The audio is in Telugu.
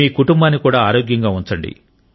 మీ కుటుంబాన్ని కూడా ఆరోగ్యంగా ఉంచండి